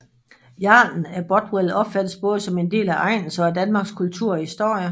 Jarlen af Bothwell opfattes både som en del af egnens og af Danmarks kultur og historie